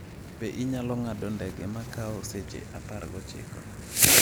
be inyalo ng’ado ndege ma kawo seche 19?